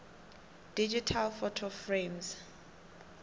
digital photo frames